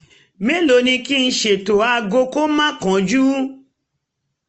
mẹ́lòó ni kí n ṣètò aago kó má kánjú?